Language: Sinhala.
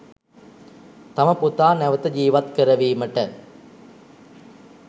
තම පුතා නැවත ජීවත් කරවීමට